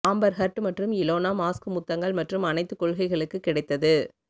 Amber Heard மற்றும் Elon Musk முத்தங்கள் மற்றும் அணைத்துக்கொள்கைகளுக்குக் கிடைத்தது